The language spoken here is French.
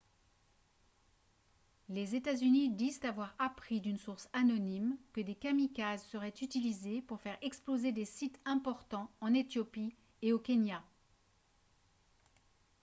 les états-unis disent avoir appris d’une source anonyme que des kamikazes seraient utilisés pour faire exploser des « sites importants » en éthiopie et au kenya